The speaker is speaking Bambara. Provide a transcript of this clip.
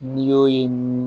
N'i y'o ye